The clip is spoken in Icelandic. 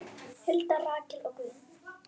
Hulda, Rakel og Guðjón.